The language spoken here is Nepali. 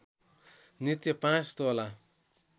नित्य पाँच तोला